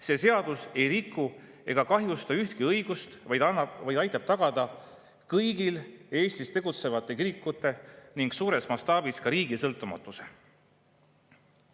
See seadus ei riku ega kahjusta ühtegi õigust, vaid aitab tagada kõigi Eestis tegutsevate kirikute ning suures mastaabis ka riigi sõltumatuse.